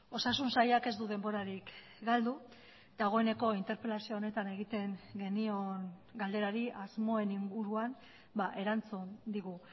osasun sailak ez du denborarik galdu dagoeneko interpelazio honetan egiten genion galderari asmoen inguruan erantzun digu